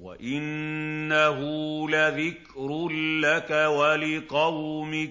وَإِنَّهُ لَذِكْرٌ لَّكَ وَلِقَوْمِكَ ۖ